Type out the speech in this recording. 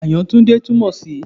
Kí ni Àyàtúndé túmọ̀ sí?